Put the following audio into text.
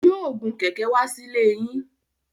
Yóò gun kẹ̀ẹ̀kẹ́ wá sílée yín.